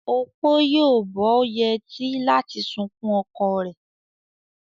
Opo yóò bó yetí láti sunkún oko ree.